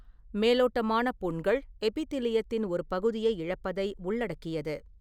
மேலோட்டமான புண்கள் எபிட்திலியத்தின் ஒரு பகுதியை இழப்பதை உள்ளடக்கியது.